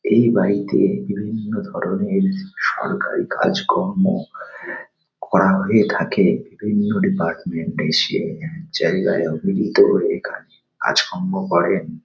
এই বাড়িতে বিভিন্ন ধরনের সরকারি কাজকর্ম করা হয়ে থাকে। বিভিন্ন ডিপার্টমেন্ট -এ এসে জায়গায় ও মিলিত হয়ে এখানে কাজকর্ম করেন।